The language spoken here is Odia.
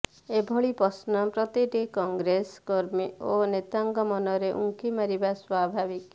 ଏଭଳି ପ୍ରଶ୍ନ ପ୍ରତିଟି କଂଗ୍ରେସ କର୍ମୀ ଓ ନେତାଙ୍କ ମନରେ ଉଙ୍କି ମାରିବା ସ୍ବଭାବିକ